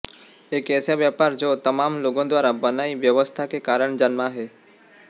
एक ऐसा व्यापार जो तमाम लोगों द्वारा बनाई व्यवस्था के कारण जन्मा है